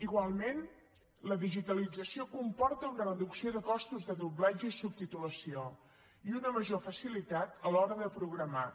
igualment la digitalització comporta una reducció de costos de doblatge i subtitulació i una major facilitat a l’hora de programar